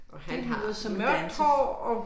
Det lyder som danse